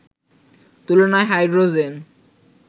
তুলনায় হাইড্রোজেন